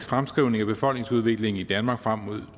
fremskrivning af befolkningsudviklingen i danmark frem mod